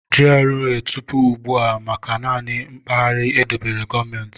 GRA bụ tupu ugbu a maka naanị mpaghara edobere gọọmentị.